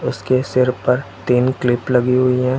उसके सिर पर तीन क्लिप लगी हुई है।